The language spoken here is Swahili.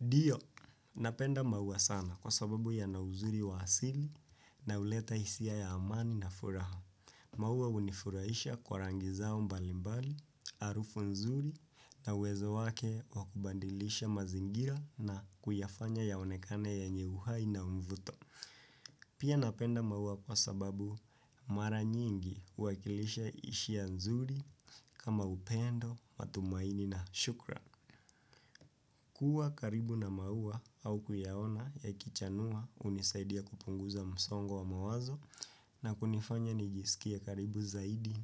Ndio, napenda maua sana kwa sababu yana uzuri wa asili na huleta hisia ya amani na furaha. Maua hunifurahisha kwa rangi zao mbalimbali, harufu nzuri na uwezo wake wa kubadilisha mazingira na kuyafanya yaonekane yenye uhai na mvuto. Pia napenda maua kwa sababu mara nyingi huwakilisha hisia nzuri kama upendo, matumaini na shukrani. Kuwa karibu na maua au kuyaona yakichanua hunisaidia kupunguza msongo wa mawazo na kunifanya nijisikie karibu zaidi